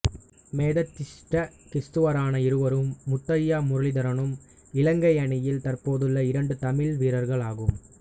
மெதடிஸ்த கிறிஸ்தவரான இவரும் முத்தையா முரளிதரனும் இலங்கை அணியில் தற்போதுள்ள இரண்டு தமிழ் வீரர்களாகும்